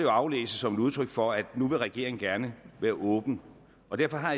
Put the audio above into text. aflæses som et udtryk for at nu vil regeringen gerne være åben og derfor har